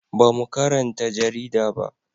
Ba mu karanta jarida ba